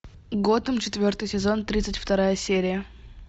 готэм четвертый сезон тридцать вторая серия